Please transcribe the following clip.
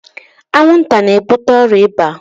Anwụ nta n'ebute ọrịa ịba.